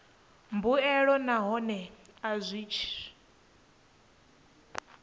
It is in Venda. mbuelo nahone a tshi zwi